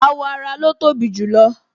Awọ ara lo tobi jù lo